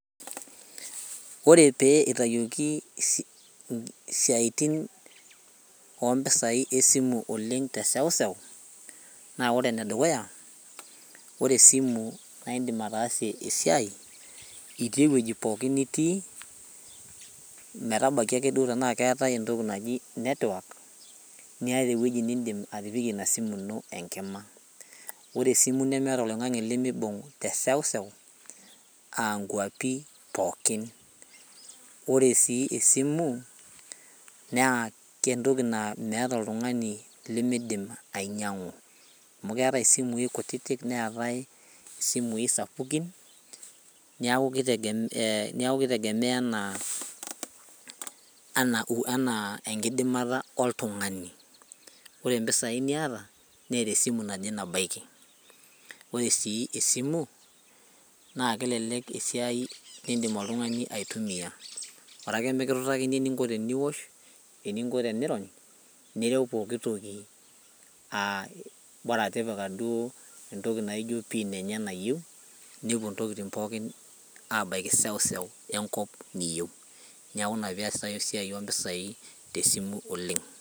Ore pee eitayioki isi isiatin ompisai esimu teseuseu naa ore enedukuya ore esimu naa indim ataasie esiai itii ewueji pooki nitii metabaki akeduo metaa keetae entoki naji network niata ewueji nindim atipikie ina simu ino enkima ore esimu nemeeta oloing'ang'e lemibung teseuseu ankuapi pookin ore sii esimu naa entoki naa meeta oltung'ani limidim ainyiang'u amu keetae isimui kutitik neetae isimui sapukin niaku kitegemea anaa enaa enkidimata oltung'ani ore impisai niata neeta esimu naje nabaiki ore sii esimu naa kelelek esiai indim oltung'ani aitumiyia orake mikitutakini eninko teniwosh eninko tenirony nirew pokitoki aa bora tipika duo entoki naijio pin enye nayieu nepuo intokiting pookin abaiki seuseu enkop niyieu niaku ina peesitae esiai ompisai tesimu oleng.